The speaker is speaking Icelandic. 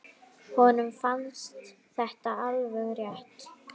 Honum fannst þetta alveg rétt.